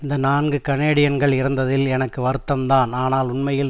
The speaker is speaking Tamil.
இந்த நான்கு கனேடியன்கள் இறந்ததில் எனக்கு வருத்தம் தான் ஆனால் உண்மையில்